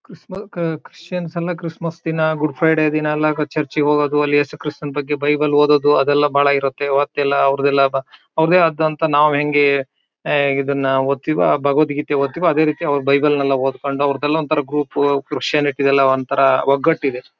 ಕ್ರಿಶ್ಮ್ ಕ ಕ್ರಿಶ್ಚಿಯನ್ಸ್ ಎಲ್ಲ ಕ್ರಿಸ್ಮಸ್ ದಿನ ಗುಡ್ ಫ್ರೈಡೆ ದಿನ ಎಲ್ಲ ಚರ್ಚಿಗೆ ಹೋಗದು ಎಲ್ಲಿ ಯೇಸು ಕ್ರಿಸ್ತ ನ ಬಗ್ಗೆ ಬೈಬಲ್ ನ ಓದೋದು ಅದೆಲ್ಲ ಬಹಳ ಇರುತ್ತೆ ಅವತ್ತೆಲ್ಲ ಅವರದೆಲ್ಲ ಬಾ ಅವರದ್ದೇ ಆದಂಥ ನಾವ್ ಹೆಂಗೆ ಇದನ್ನ ಒದ್ತಿಯೋ ಆ ಭಾಗವತ್ ಗೀತೆ ಒದ್ತಿಯೋ ಅದೇ ರೀತಿ ಅವರ ಬೈಬಲ್ನೆ ಲ್ಲ ಓದ್ಕೊಂಡು ಅವರದೆಲ್ಲ ಒಂಥರಾ ಗ್ರೂಪು ಕ್ರಿಶ್ಚಿಯಾನಿಟಿ ಒಂಥರಾ ಒಗ್ಗಟ್ಟು ಇದೆ.